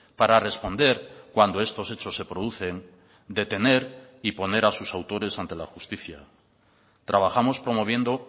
para responder cuando estos hechos se producen detener y poner a sus autores ante la justicia trabajamos promoviendo